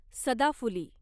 सदाफुली